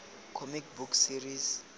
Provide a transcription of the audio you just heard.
comic book series